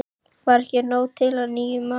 Var ekki nóg til af nýjum mat?